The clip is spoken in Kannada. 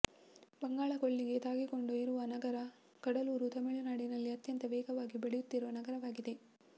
ಬಂಗಾಳ ಕೊಲ್ಲಿಗೆ ತಾಗಿಕೊಂಡು ಇರುವ ನಗರ ಕಡಲೂರ್ ತಮಿಳು ನಾಡಿನಲ್ಲಿ ಅತ್ಯಂತ ವೇಗವಾಗಿ ಬೆಳೆಯುತ್ತಿರುವ ನಗರವಾಗಿದೆ